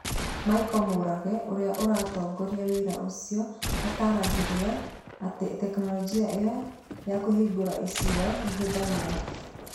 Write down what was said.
Michael Murage ũrĩa ũratongoria wĩra ũcio, ataaragĩria atĩ tekinolonjĩ ĩyo ya kũhingũra icua ĩhũthagĩra